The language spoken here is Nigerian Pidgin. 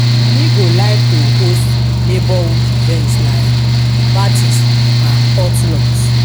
me go like to host neighborhood events like parties and potlucks.